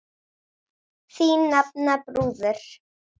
Þín nafna, Þrúður.